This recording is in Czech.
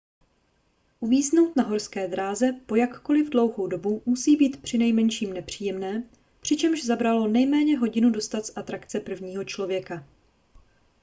uvíznout na horské dráze po jakkoliv dlouhou dobu musí být přinejmenším nepříjemné přičemž zabralo nejméně hodinu dostat z atrakce prvního člověka